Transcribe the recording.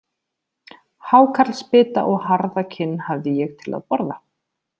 Hákarlsbita og harða kinn hafði ég til að borða.